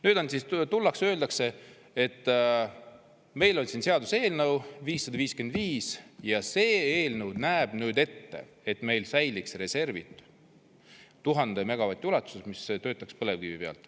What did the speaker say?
Nüüd on siis tullakse ja öeldakse, et meil on siin seaduseelnõu 555 ja see eelnõu näeb ette, et meil säiliks reservid 1000 megavati ulatuses, mis töötaks põlevkivi peal.